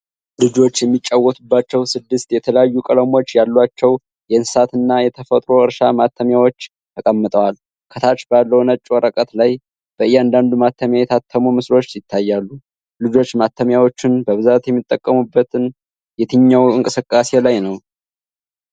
ልጆች የሚጫወቱባቸው ስድስት የተለያዩ ቀለሞች ያላቸው የእንስሳት እና የተፈጥሮ አሻራ ማተሚያዎች ተቀምጠዋል። ከታች ባለው ነጭ ወረቀት ላይ በእያንዳንዱ ማተሚያ የታተሙ ምስሎች ይታያሉ። ልጆች ማተሚያዎቹን በብዛት የሚጠቀሙበት የትኛው እንቅስቃሴ ላይ ነው?